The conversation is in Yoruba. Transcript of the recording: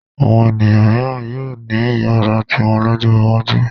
Àwọn ènìyàn mìíràn yóò ní ìyàrá tiwọn lọ́jọ́ iwájú.